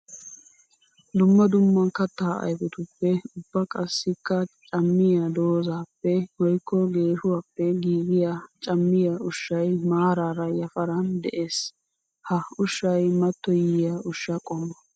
Dumma dumma katta ayfettuppe ubba qassikka cammiya doozzappe woykko geeshshuwappe giigiya cammiya ushshay maarara yafaran de'ees. Ha ushshay mattoyiya ushsha qommo.